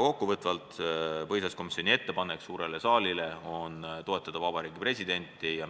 Kokkuvõtvalt on põhiseaduskomisjoni ettepanek suurele saalile toetada Vabariigi Presidenti ja